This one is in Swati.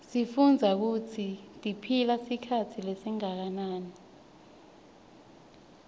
sifundza kutsi tiphila sikhatsi lesinganani